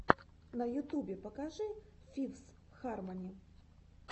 на ютубе покажи фифс хармони